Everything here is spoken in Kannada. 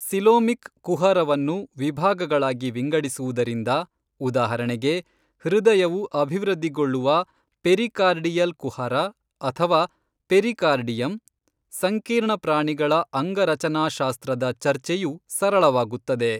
ಸೀಲೋಮಿಕ್ ಕುಹರವನ್ನು ವಿಭಾಗಗಳಾಗಿ ವಿಂಗಡಿಸುವುದರಿಂದ, ಉದಾಹರಣೆಗೆ, ಹೃದಯವು ಅಭಿವೃದ್ಧಿಗೊಳ್ಳುವ ಪೆರಿಕಾರ್ಡಿಯಲ್ ಕುಹರ ಅಥವಾ ಪೆರಿಕಾರ್ಡಿಯಮ್, ಸಂಕೀರ್ಣ ಪ್ರಾಣಿಗಳ ಅಂಗರಚನಾಶಾಸ್ತ್ರದ ಚರ್ಚೆಯು ಸರಳವಾಗುತ್ತದೆ.